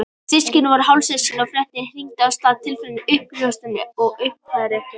Systkinin voru hálfsystkin og fréttirnar hrintu af stað tilfinningum, uppljóstrunum og uppgjöri.